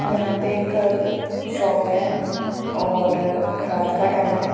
यहां पे एक शॉप है और रात का टाइम है।